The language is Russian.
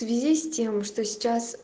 в связи с тем что сейчас